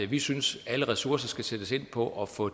vi synes at alle ressourcer skal sættes ind på at få